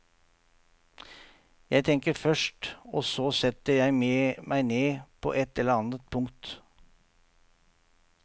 Jeg tenker først og så setter jeg meg ned på et eller annet punkt.